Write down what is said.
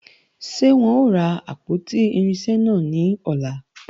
Ṣé wọn ó ra àpótí irinṣẹ́ náà ní ọ̀la?